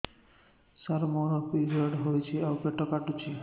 ସାର ମୋର ପିରିଅଡ଼ ହେଇଚି ଆଉ ପେଟ କାଟୁଛି